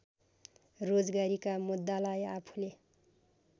रोजगारीका मुद्दालाई आफूले